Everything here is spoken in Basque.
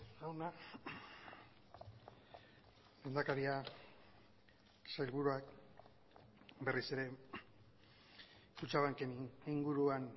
jauna lehendakaria sailburuak berriz ere kutxabanken inguruan